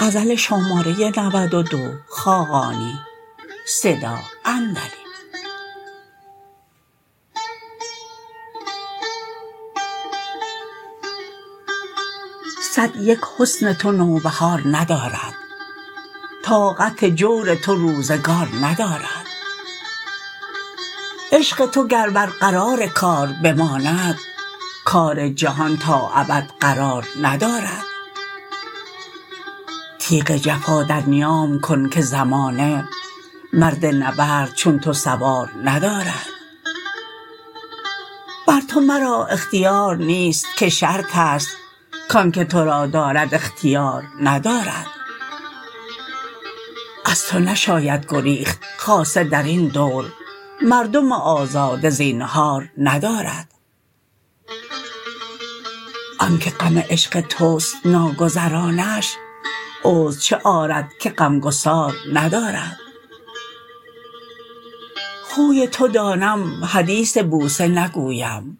صد یک حسن تو نوبهار ندارد طاقت جور تو روزگار ندارد عشق تو گر بر قرار کار بماند کار جهان تا ابد قرار ندارد تیغ جفا در نیام کن که زمانه مرد نبرد چو تو سوار ندارد بر تو مرا اختیار نیست که شرط است کانکه تو را دارد اختیار ندارد از تو نشاید گریخت خاصه در این دور مردم آزاده زینهار ندارد آنکه غم عشق توست ناگزرانش عذر چه آرد که غمگسار ندارد خوی تو دانم حدیث بوسه نگویم